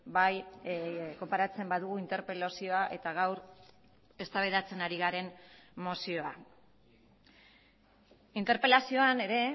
bai konparatzen badugu interpelazioa eta gaur eztabaidatzen ari garen mozioa interpelazioan ere